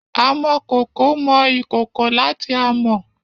Amokoko mu ikoko lati amo.